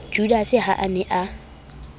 judase ha a ne a